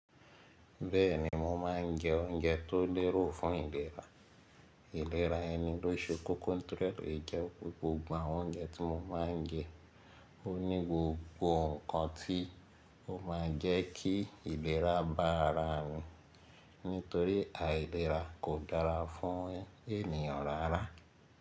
Bẹ́ẹ̀ni mo máa ń jẹ oúnjẹ tó lérò fún ìlera. Ìlera ẹni ló ṣe kókó tòrẹ́ èjọ́ gbogbo àwọn oúnjẹ tí mo máa ń jẹ. Ó ní gbogbo ǹkan tí ó máa jẹ́ kí ìlera bá ara mi, nítorí àìlera kò dára fún ènìyàn rárá.